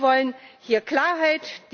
Wir wollen hier Klarheit.